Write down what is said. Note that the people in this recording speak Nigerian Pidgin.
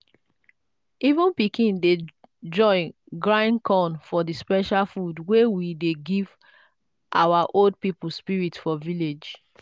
even pikin dey join grind corn for the special food wey we dey give our old people spirit for village.